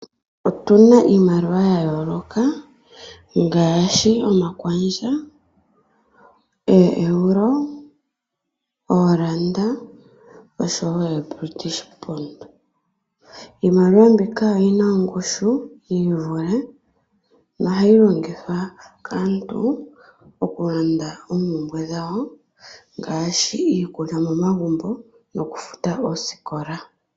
Otuna iimaliwa ya yooloka , ngaashi omakwanza, ee euro, ooranda osho woo . Iimaliwa mbika oyina ongushu yi ivule nohayi longithwa kaantu oku landa oompumbwe dhawo, ngaashi iikulya moma gumbo nokufuta oisikola.